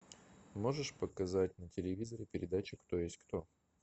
можешь показать на телевизоре передачу кто есть кто